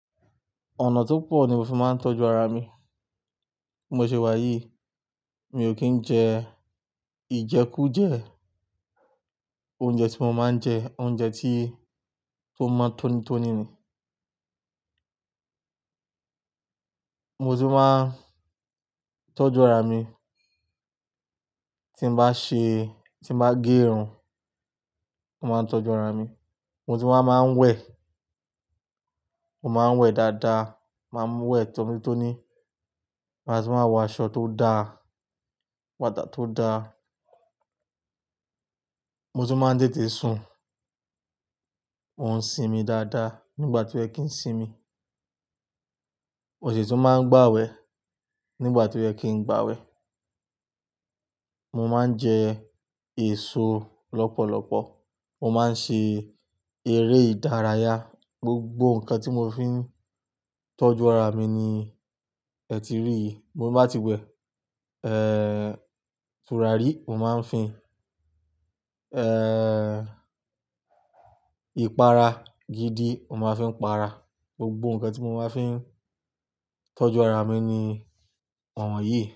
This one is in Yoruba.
Ọ̀nà tó pọ̀ ni mo fi máa ń tọ́jú ara mi. Bí mo ṣe wá yìí, mi ò kí ń jẹ, ìjẹkújẹ̀, oúnjẹ tí mo máa ń jẹ oúnjẹ tí, tó mọ tónítóní ni. Mo sì máa ń tọ́jú ara mi, tí n bá ṣe, tí n bá gé irun, mo máa ń tọ́jú ara mi. Mo ti wá máa ń wẹ̀, mo máa ń wẹ̀ dáadáa, máa ń wẹ̀ tónítóní. Ma tún wá ń wọ aṣọ tó da, bàtà tó dá. Mo sì máa ń tètè sùn. Mo ń sinmi dáadáa nígbà tó yẹ kí ń sinmi. Mo sì tun máa ń gbàwẹ̀ nígbà t'óyẹ kí ń gbàwẹ̀. Mo máa ń jẹ èso lọ́pọ̀lọpọ̀. Mo máa ń ṣe eré ìdárayá. Gbogbo nǹkan tí mo fi ń tọ́jú ara mi ni ẹ ti rí yìí. Tí mo bá ti wẹ, eh, tùràrí mo máa ń fi ń, eh, ìpara gidi mo máa ń fi ń para. Gbogbo nǹkan tí mo máa ń fi ń tọ́jú ara mi ni àwọn yìí.